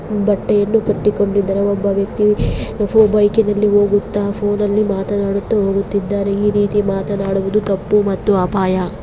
ಬಟ್ಟೆಯನ್ನು ಕಟ್ಟಿಕೊಂಡಿದ್ದಾರೆ ಒಬ್ಬ ವ್ಯಕ್ತಿ ಬೈಕಿ ನಲ್ಲಿ ಹೋಗುತ್ತ ಫೋನ್ನ ಲ್ಲಿ ಮಾತನಾಡುತ್ತಾ ಹೋಗುತ್ತಿದ್ದಾನೆ ಈ ರೀತಿ ಮಾತನಾಡುವುದು ತಪ್ಪು ಮತ್ತು ಅಪಾಯ.